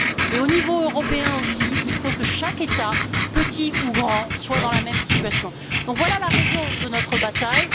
Et au niveau européen aussi, il faut que chaque État petit ou grand soit dans la même situation. Donc voilà la raison de notre bataille.